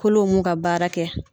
Kolo mun ka baara kɛ.